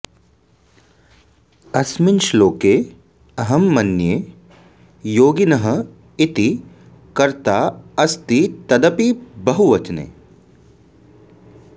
अस्मिन् श्लोके अहं मन्ये योगिनः इति कर्ता अस्ति तदपि बहुवचने